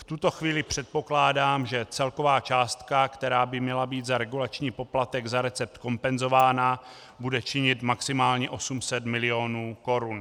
V tuto chvíli předpokládám, že celková částka, která by měla být za regulační poplatek za recept kompenzována, bude činit maximálně 800 mil. korun.